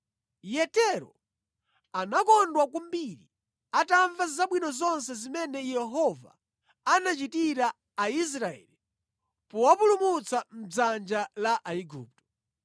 Yetero anakondwa kwambiri atamva zabwino zonse zimene Yehova anachitira Aisraeli powapulumutsa mʼdzanja la Aigupto.